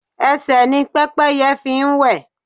Ẹsẹ̀ ni Pẹ́pẹ́yẹ fi ń wẹ̀.